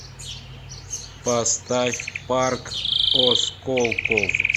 поставь парк осколков